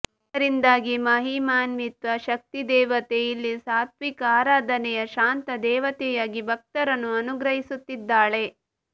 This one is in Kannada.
ಇದರಿಂದಾಗಿ ಮಹಿಮಾನ್ವಿತ ಶಕ್ತಿದೇವತೆ ಇಲ್ಲಿ ಸಾತ್ವಿಕ ಆರಾಧನೆಯ ಶಾಂತ ದೇವತೆಯಾಗಿ ಭಕ್ತರನ್ನು ಅನುಗ್ರಹಿಸುತ್ತಿದ್ದಾಳೆ